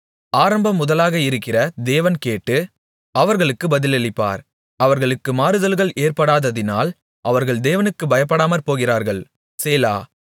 ஆரம்பம்முதலாக இருக்கிற தேவன் கேட்டு அவர்களுக்குப் பதிலளிப்பார் அவர்களுக்கு மாறுதல்கள் ஏற்படாததினால் அவர்கள் தேவனுக்குப் பயப்படாமற்போகிறார்கள் சேலா